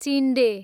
चिन्डे